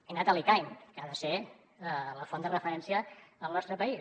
he anat a l’icaen que ha de ser la font de referència al nostre país